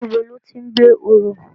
Nibó lòti n gbé óró?